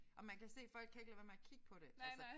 Og man kan se folk kan ikke lade være med at kigge på det altså